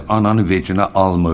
Ananı vecinə almır.